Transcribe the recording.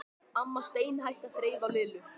Amma steinhætti að þreifa á Lillu.